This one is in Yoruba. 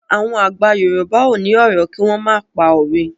Àwọn àgbà Yorùbá ò ní ọ̀rọ̀ kí wọ́n má pòwe.